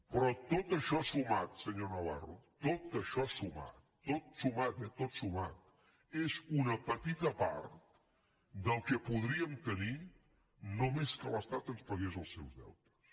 però tot això sumat senyor navarro tot això sumat tot sumat tot sumat és una petita part del que podríem tenir només que l’estat ens pagués els seus deutes